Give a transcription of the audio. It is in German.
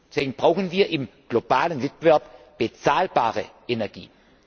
Deswegen brauchen wir im globalen Wettbewerb bezahlbare Energie.